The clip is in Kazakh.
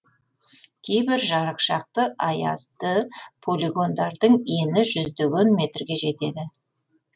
кейбір жарықшақты аязды полигондардың ені жүздеген метрге жетеді